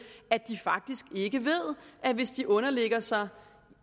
at de faktisk ikke ved at hvis de underlægger sig